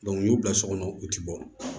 u y'u bila so kɔnɔ u ti bɔ